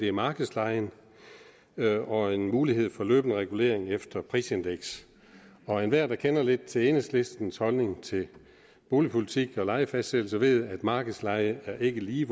er markedslejen og en mulighed for løbende regulering efter prisindekset enhver der kender lidt til enhedslistens holdning til boligpolitik og lejefastsættelse ved med markedsleje ikke lige